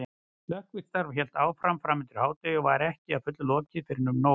Slökkvistarf hélt áfram framundir hádegi og var ekki að fullu lokið fyrren um nón.